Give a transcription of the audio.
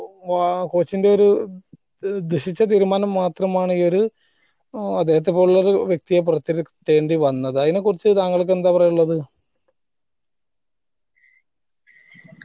വാ coach ന്റെ ഒരു ദുഷിച്ച തീരുമാനം മാത്രമാണ് ഈ ഒരു അദ്ദേഹത്തെ പോലുള്ളൊരു വ്യക്തിയെ പോറതിരുത്തേണ്ടി വന്നത് അയിന കുറിച്ച് താങ്കൾക്ക് എന്താ പറയാനുള്ളത്